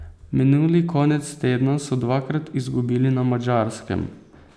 Minuli konec tedna so dvakrat izgubili na Madžarskem.